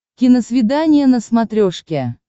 киносвидание на смотрешке